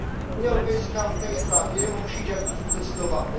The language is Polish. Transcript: Unia Europejska w tej sprawie musi działać w sposób zdecydowany.